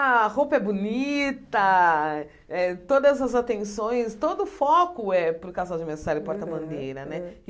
A roupa é bonita, eh todas as atenções, todo o foco é para o casal de mestre sala e porta-bandeira né. Aham